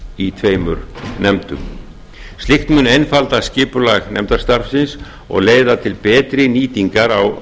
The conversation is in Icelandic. í tveimur nefndum slíkt mun einfalda skipulag nefndastarfsins og leiða til betri nýtingar á